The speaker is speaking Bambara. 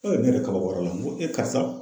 N ko nin ye n ko e karisa.